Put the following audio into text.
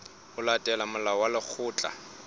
ho latela molao wa lekgetho